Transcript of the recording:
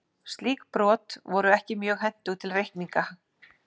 Slík brot voru ekki mjög hentug til reikninga.